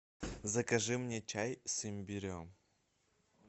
закажи мне чай с имбирем